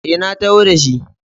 E, na taho da shi.